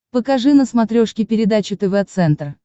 покажи на смотрешке передачу тв центр